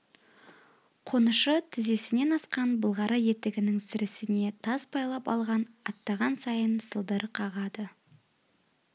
қонышы тізесінен асқан былғары етігінің сірісіне тас байлап алған аттаған сайын сылдыр қағады